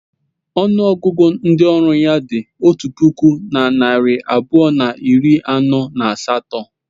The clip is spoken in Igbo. Ọnụ ọgụgụ ndị ọrụ ya dị otu puku na narị abụọ na iri anọ na asatọ.